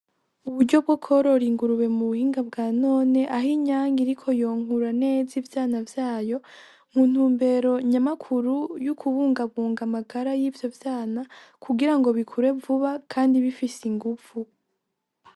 Uburyo bwo korora ingurube mu buhinga bwa none aho inyanke iriko yonkura neza ivyana vyayo mu ntumbero nyamakuru yo kubungabunga amagara y'ivyo vyana kugirango bikure vuba kandi bifise ingufu.